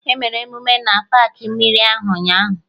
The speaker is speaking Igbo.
Emere emume na paakị mmiri ahụ ụnyaahụ